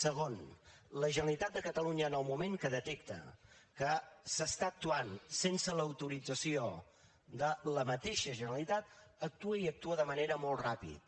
segon la generalitat de catalunya en el moment que detecta que s’està actuant sense l’autorització de la mateixa generalitat actua i actua de manera molt ràpida